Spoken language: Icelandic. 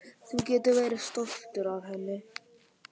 Þú getur verið stoltur af henni.